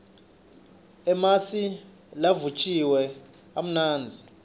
emasi lavutjiwe amnandzi